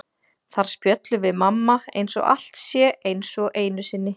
Þar spjöllum við mamma eins og allt sé eins og einu sinni.